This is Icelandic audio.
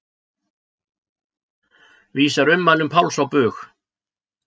Vísar ummælum Páls á bug